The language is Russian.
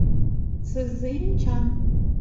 цзиньчан